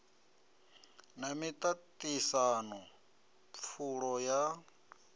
na miṱa ṱisano pfulo ya